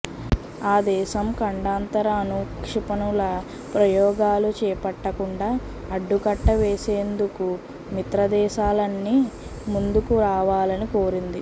ఆ దేశం ఖండాంతర అణు క్షిపణుల ప్రయోగాలు చేపట్టకుండా అడ్డుకట్ట వేసేందుకు మిత్రదేశాలన్నీ ముందుకు రావాలని కోరింది